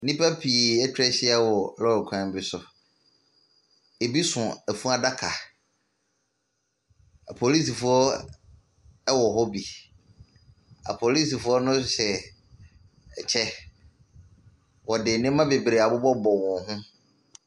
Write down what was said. Nnipa pii etwa ahyia wɔ lɔre kwan bi so. Ebi so efunudaka. Apolisifoɔ ɛwɔ hɔ bi. Apolisifoɔ no hyɛ ɛkyɛ. Wɔde nneɛma beberee abobɔ bobɔ wɔn ho.